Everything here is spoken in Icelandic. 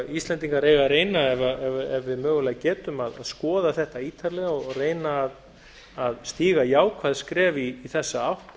íslendingar eiga að reyna ef við mögulega getum að skoða þetta ítarlega og reyna að stíga jákvæð skref í þessa átt